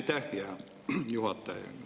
Aitäh, hea juhataja!